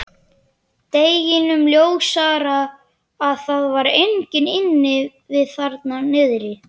Deginum ljósara að það var enginn inni við þarna niðri.